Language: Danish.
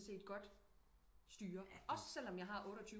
Set godt styre selvom jeg har 28